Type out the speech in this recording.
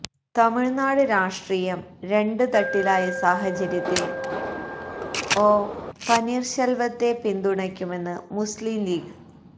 തമിഴ്നാട് രാഷ്ട്രീയം രണ്ട് തട്ടിലായ സാഹചര്യത്തിൽ ഒ പനീർശെൽവത്തെ പിന്തുണയ്ക്കുമെന്ന് മുസ്ലീം ലീഗ്